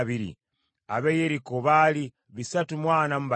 ab’e Yeriko baali bisatu mu ana mu bataano (345),